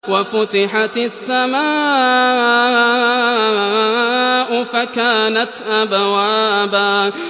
وَفُتِحَتِ السَّمَاءُ فَكَانَتْ أَبْوَابًا